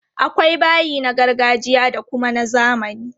Akwai bayi na gargajiya da kuma na zamani.